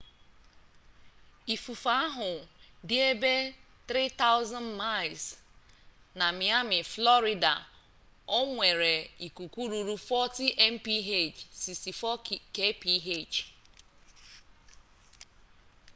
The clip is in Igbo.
ifufe ahu di ebe 3,000miles na miami florida o nwere ikuku ruru 40mph64 kph